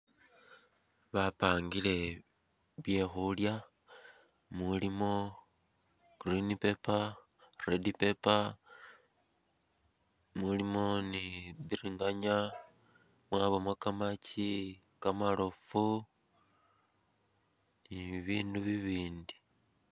Bapangile byekhulya mulimo green pepper, red pepper mulimo ni biringanya mwabamo kamakyi, kamalofu ni bibindu bibindi .